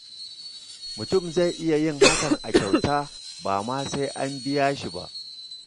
Mutum zai iya yin hakan a kyauta, ba ma sai an biya shi ba.